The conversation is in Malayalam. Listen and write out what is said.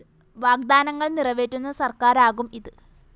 വാഗ്ദാനങ്ങള്‍ നിറവേറ്റുന്ന സര്‍ക്കാരാകും ഇത്